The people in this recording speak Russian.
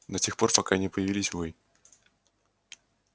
до тех пор пока не появились вы